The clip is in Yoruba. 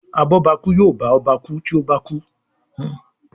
abobaku yóò bá ọba ku tí ọba bá kú.